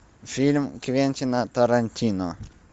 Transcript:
фильм квентина тарантино